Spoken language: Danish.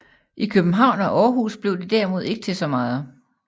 I København og Aarhus blev det derimod ikke til så meget